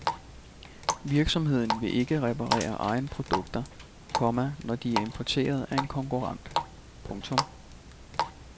Virksomheden vil ikke reparere egne produkter, komma når de er importeret af en konkurrent. punktum